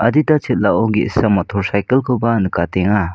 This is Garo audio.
Adita chel·ao ge·sa motor cycle -koba nikatenga.